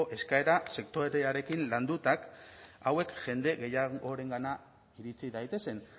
eskaera sektorearekin landuta hauek jende gehiagorengana iritsi daitezen